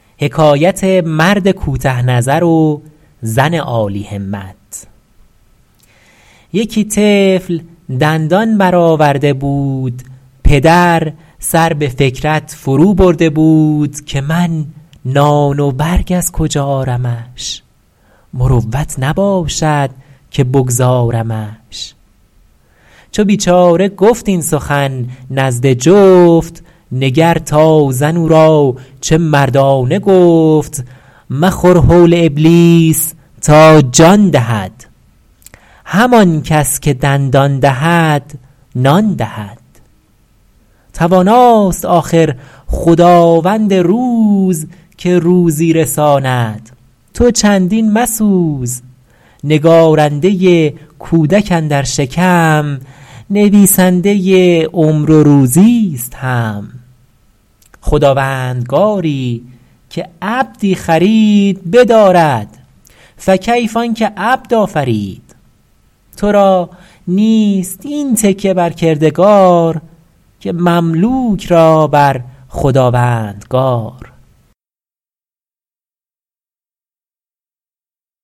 یکی طفل دندان برآورده بود پدر سر به فکرت فرو برده بود که من نان و برگ از کجا آرمش مروت نباشد که بگذارمش چو بیچاره گفت این سخن نزد جفت نگر تا زن او را چه مردانه گفت مخور هول ابلیس تا جان دهد همان کس که دندان دهد نان دهد تواناست آخر خداوند روز که روزی رساند تو چندین مسوز نگارنده کودک اندر شکم نویسنده عمر و روزی است هم خداوندگاری که عبدی خرید بدارد فکیف آن که عبد آفرید تو را نیست این تکیه بر کردگار که مملوک را بر خداوندگار شنیدی که در روزگار قدیم شدی سنگ در دست ابدال سیم نپنداری این قول معقول نیست چو قانع شدی سیم و سنگت یکی است چو طفل اندرون دارد از حرص پاک چه مشتی زرش پیش همت چه خاک خبر ده به درویش سلطان پرست که سلطان ز درویش مسکین ترست گدا را کند یک درم سیم سیر فریدون به ملک عجم نیم سیر نگهبانی ملک و دولت بلاست گدا پادشاه است و نامش گداست گدایی که بر خاطرش بند نیست به از پادشاهی که خرسند نیست بخسبند خوش روستایی و جفت به ذوقی که سلطان در ایوان نخفت اگر پادشاه است و گر پینه دوز چو خفتند گردد شب هر دو روز چو سیلاب خواب آمد و مرد برد چه بر تخت سلطان چه بر دشت کرد چو بینی توانگر سر از کبر مست برو شکر یزدان کن ای تنگدست نداری بحمدالله آن دسترس که برخیزد از دستت آزار کس